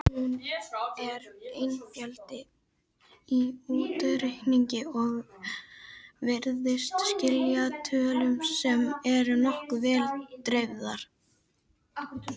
Hún er einföld í útreikningi og virðist skila tölum sem eru nokkuð vel dreifðar.